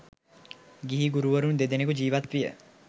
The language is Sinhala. ගිහි ගුරුවරුන් දෙදෙනෙකු ජීවත් විය.